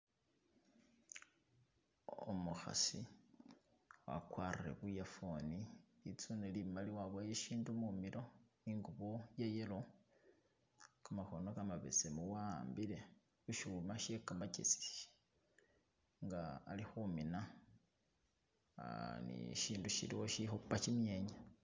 Umukhasi, wakwarire bu earphone , litsune limali waboya ishindu mumilo , ingubo iye yellow , kamakhono kamabesemu wa'ambile ishuma she kamakesi nga ali khumiina aah ni ishindu shiliwo ishipa kimyenya.